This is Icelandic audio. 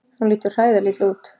Hún lítur hræðilega illa út.